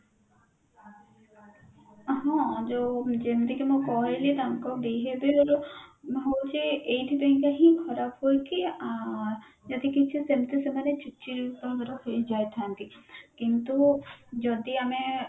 ହଁ ଯୋଉ ଯେମିତିକି ମୁଁ କହିଲି ତାଙ୍କ behavior ହଉଛି ଏଇଥି ପାଇଁ କା ହିଁ ଖରାପ ହୁଏ କି ଆଁ ଯଦି କିଛି ସେମତି ସେମାନେ ଚିଡଚିଡ ତାଙ୍କର ହେଇଯାଇଥାନ୍ତି କିନ୍ତୁ ଯଦି ଆମେ